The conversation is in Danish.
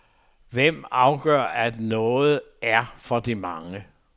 Hvem afgør, at noget er for de mange.